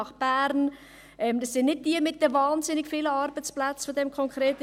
In dem von mir konkret angesprochenen Beispiel sind es nicht jene mit wahnsinnig vielen Arbeitsplätzen.